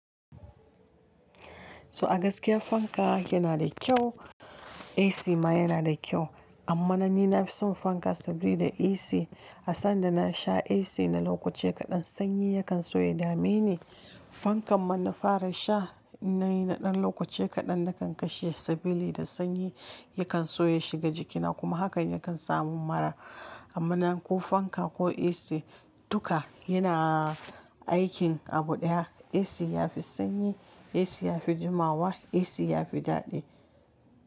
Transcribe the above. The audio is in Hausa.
To a gaskiya fanka yana da kyau, AC ma yana da kyau. Amma na ni na fi son fanka saboda AC a sanda na sha AC na lokaci kaɗan sanyi yakan soya dameni. Fankan ma na fara sha in nayi na ɗan lokaci kaɗan na kan kashe sabili da sanyi yakan soya shiga jikina kuma hakan yakan sa mun mura. Amma na ko fanka ko AC duka yana aikin abu ɗaya. AC yafi sanyi, AC yafi jimawa, AC yafi daɗi.